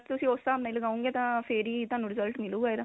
ਤੁਸੀਂ ਉਸ ਹਿਸਾਬ ਨਾਲ ਲਗਾਓਗੇ ਤਾਂ ਫੇਰ ਹੀ ਤੁਹਾਨੂੰ result ਮਿਲੁਗਾ ਇਹਦਾ